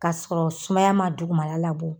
K'a sɔrɔ sumaya ma dugumala labɔ